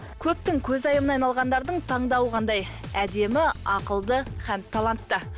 көптің көзайымына айналғандардың таңдауы қандай әдемі ақылды һәм талантты